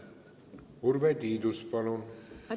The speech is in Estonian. Urve Tiidus, palun!